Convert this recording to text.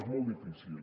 és molt difícil